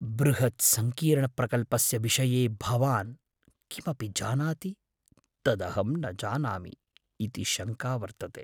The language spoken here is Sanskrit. बृहत्सङ्कीर्णप्रकल्पस्य विषये भवान् किमपि जानाति तदहं न जानामि इति शङ्का वर्तते।